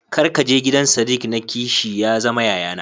Kar kaje gidan sadiq na ki shi ya zama yayana.